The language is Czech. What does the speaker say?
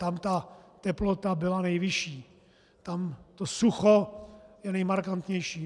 Tam ta teplota byla nejvyšší, tam to sucho je nejmarkantnější.